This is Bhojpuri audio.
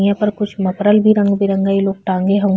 यहाँ पर कुछ मफरल भी रंग बिरंगा इलोग लोग टाँगे हवे।